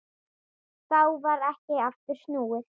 Þá varð ekki aftur snúið.